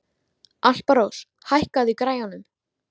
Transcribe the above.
Alparós, hækkaðu í græjunum.